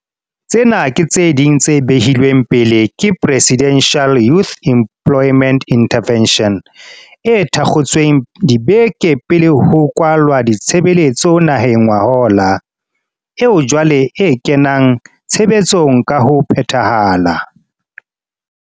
Tsena ke tse ding tse behilweng pele ke Presidential Youth Employment Interve ntion, e thakgotsweng dibeke pele ho kwalwa ditshebeletso naheng ngwahola, eo jwale e kenang tshebetsong ka ho phethahala.